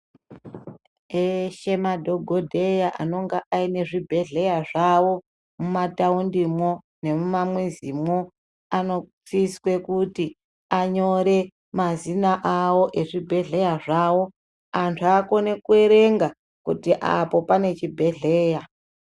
Eshe madhogodheya anonga aine zvibhedhleya zvavo mumataundimwo nemumamwizimwo anosiswe kuti anyore mazina avo ezvibhehleya zvavo. Antu akone kuerenga kuti apo pane chibhehleya.